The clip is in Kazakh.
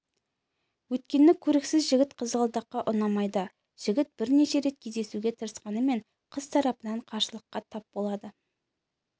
өйткені көріксіз жігіт қызғалдаққа ұнамайды жігіт бірнеше рет кездесуге тырысқанымен қыз тарапынан қарсылыққа тап болады